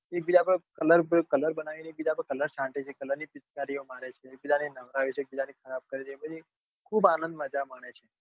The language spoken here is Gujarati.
એ દિવસે આપડે કલર બનાવી ને એક બીજા પર કલર છાંટે છે કલર ની પિચકારીઓ મારે એક બીજા ને નવરાવે છે એક બીજા ને ખરાબ કરે છે એમ કરી ને ખુબ આંનદ મજા મને છે